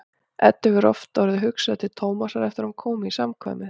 Eddu hefur oft orðið hugsað til Tómasar eftir að hún kom í samkvæmið.